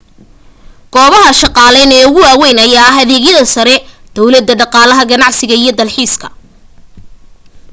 goobaha shaqaaleyn ee ugu weyn ayaa ah adeegyada sare downlada dhaqaalaha ganacsiga iyo dalxiiska